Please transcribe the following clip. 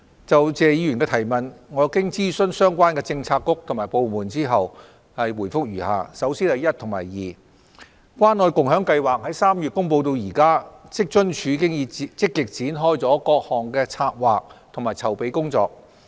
就謝議員的質詢，經諮詢相關政策局及部門後，我現答覆如下：一及二關愛共享計劃自3月公布至今，職津處已積極展開各項策劃和籌備工作。